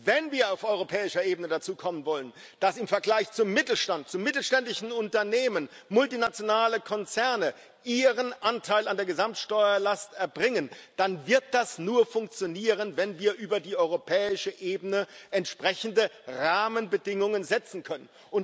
Wenn wir auf europäischer Ebene dazu kommen wollen, dass im Vergleich zum Mittelstand zu mittelständischen Unternehmen multinationale Konzerne ihren Anteil an der Gesamtsteuerlast erbringen, dann wird das nur funktionieren, wenn wir über die europäische Ebene entsprechende Rahmenbedingungen setzen können.